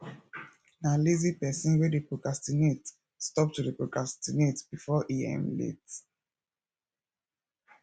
na lazy person wey dey procrastinate stop to dey procrastinate before e um late